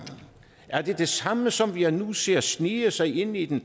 er det det samme som jeg nu ser snige sig ind i den